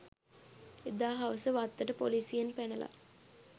එදා හවස වත්තට පොලිසියෙන් පැනලා